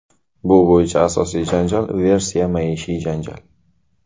Bu bo‘yicha asosiy versiya maishiy janjal.